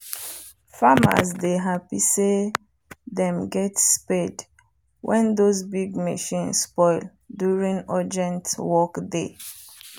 farmers dey happy say them get spade wen those big machine spoil during urgent work day